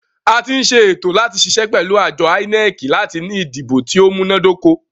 A tí ń ṣe ètò láti ṣiṣẹ́ pẹ̀lú àjọ INEC láti ní ìdìbò tí o múná dóko.